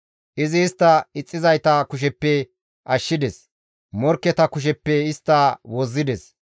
Izi istta ixxizayta kusheppe ashshides; morkketa kusheppe istta wozzides.